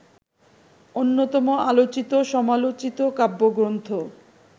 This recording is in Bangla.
অন্যতম আলোচিত-সমালোচিত কাব্যগ্রন্থ